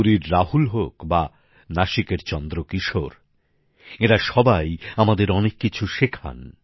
পুরীর রাহুল হোক বা নাসিকের চন্দ্রকিশোর এঁরা সবাই আমাদের অনেক কিছু শেখান